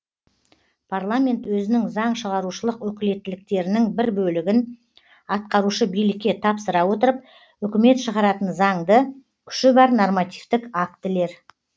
парламент өзінің заң шығарушылық өкілеттіктерінің бір бөлігін атқарушы билікке тапсыра отырып үкімет шығаратын заңды күші бар нормативтік актілер